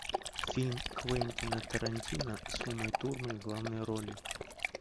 фильм квентина тарантино с умой турман в главной роли